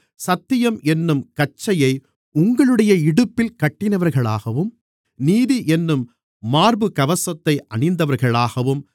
சத்தியம் என்னும் கச்சையை உங்களுடைய இடுப்பில் கட்டினவர்களாகவும் நீதி என்னும் மார்புக்கவசத்தை அணிந்தவர்களாகவும்